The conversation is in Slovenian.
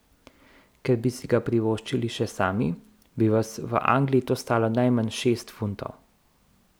Ker bi si ga privoščili še sami, bi vas v Angliji to stalo najmanj šest funtov.